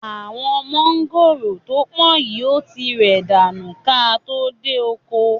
Àwọn mọ̀ngòrò to pọ̀n yìí ó ti rẹ̀ dànù ka tó dé oko.